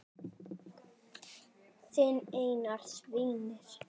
Þinn Einar Sveinn.